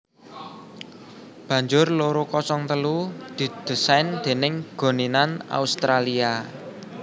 Banjur loro kosong telu didésain déning Goninan Australia